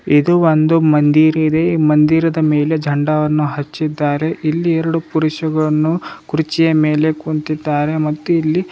ಇದು ಒಂದು ಮಂದಿರ ಇದೆ ಮಂದಿರದ ಮೇಲೆ ಝಂಡಾವನ್ನು ಹಚ್ಚಿದ್ದಾರೆ ಇಲ್ಲಿ ಎರಡು ಪುರುಷುಗಳನ್ನು ಕುರ್ಚಿಯ ಮೇಲೆ ಕುಂತಿದ್ದಾರೆ ಮತ್ತು ಇಲ್ಲಿ --